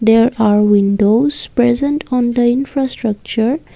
there are windows present on the infrastructure.